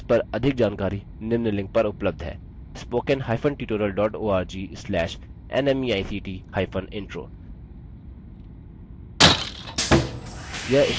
इस पर अधिक जानकारी निम्न लिंक पर उपलब्ध है spoken hyphen tutorial dot org slash nmeict hypen intro